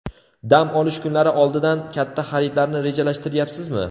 Dam olish kunlari oldidan katta xaridlarni rejalashtiryapsizmi?